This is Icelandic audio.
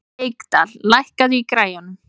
Reykdal, lækkaðu í græjunum.